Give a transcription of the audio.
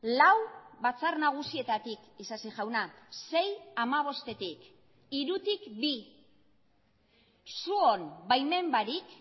lau batzar nagusietatik isasi jauna sei hamabostetik hirutik bi zuen baimen barik